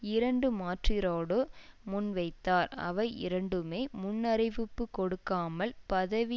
இரண்டு மாற்றீடோடு முன்வைத்தார் அவை இரண்டுமே முன்னறிவிப்பு கொடுக்காமல் பதவி